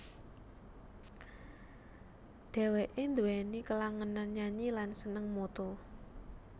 Dheweke duweni kelangenan nyanyi lan seneng moto